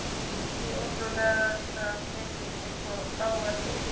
Hið ótrúlegasta heyrist einsog lágvært hvískur.